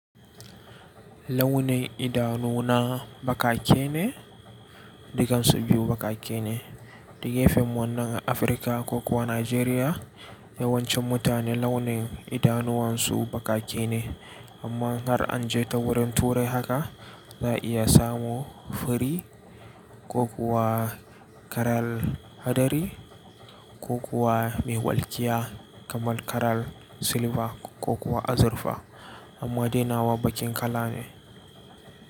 Launin idanu na bakake ne? Dukansu biyu bakake ne. Duka efem wannan Afirka ko kuwa Najeriya yawancin mutane launin idanuwan su ba ƙaƙe ne. Amma har an je ta wurin turai haka za a iya samun fari ko kuwa karar hadari ko kuwa mai walkiya kamar karar silba ko kuma azurfa amma dainawa baƙin kala ne.